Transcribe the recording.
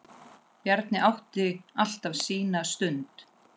Bjarni átti alltaf sína stund.